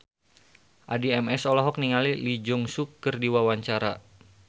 Addie MS olohok ningali Lee Jeong Suk keur diwawancara